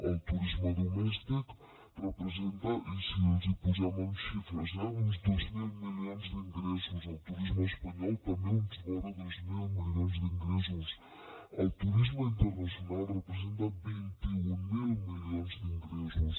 el turisme domèstic representa i si els hi posem amb xifres eh uns dos mil milions d’ingressos el turisme espanyol també vora dos mil milions d’ingressos el turisme internacional representa vint mil milions d’ingressos